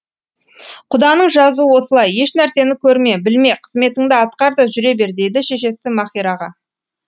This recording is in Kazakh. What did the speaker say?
құданың жазуы осылай ешнәрсені көрме білме қызметіңді атқар да жүре бер дейді шешесі маһираға